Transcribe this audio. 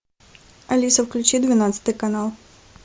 алиса включи двенадцатый канал